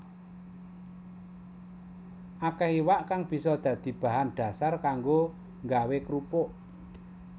Akéh iwak kang bisa dadi bahan dhasar kanggo nggawé krupuk